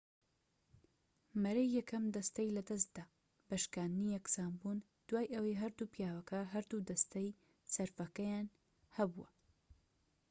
مەرەی یەکەم دەستەی لەدەستدا بە شکاندنی یەکسانبوون دوای ئەوەی هەردوو پیاوەکە هەردوو دەستەی سەرفەکەیان هەبوو